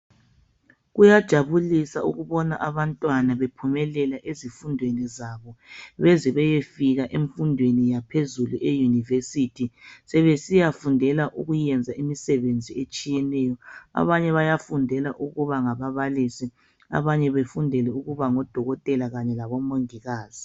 kuyajabulisa ukubona abantwana bephumelela ezifundweni zabo beze beyefika emfundweni yaphezulu eyunivesithi. Sebesiya fundela ukuyenza imisebenzi etshiyeneyo, abanye bayafundela ukuba ngababalisi, abanye bafundele ukuba ngodokotela kanye labo mongikazi.